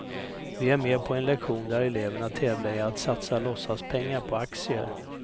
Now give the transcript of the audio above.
Vi är med på en lektion där eleverna tävlar i att satsa låtsaspengar på aktier.